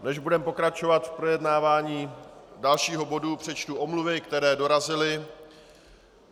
Než budeme pokračovat v projednávání dalšího bodu, přečtu omluvy, které dorazily.